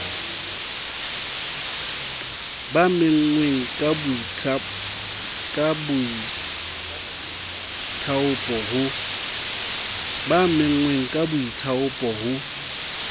ba menngweng ka boithaopo ho